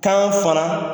Kan fana